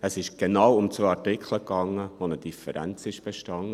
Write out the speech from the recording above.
Es ging genau um zwei Artikel, bei denen eine Differenz bestand.